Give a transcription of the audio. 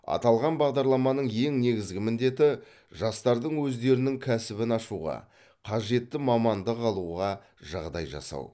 аталған бағдарламаның ең негізгі міндеті жастардың өздерінің кәсібін ашуға қажетті мамандық алуға жағдай жасау